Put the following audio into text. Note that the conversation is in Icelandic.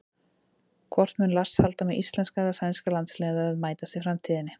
Hvort mun Lars halda með íslenska eða sænska landsliðinu ef þau mætast í framtíðinni?